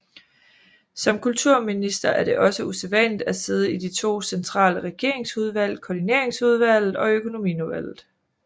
Som kulturminister er det også usædvanligt at sidde i de to centrale regeringsudvalg Koordinationsudvalget og Økonomiudvalget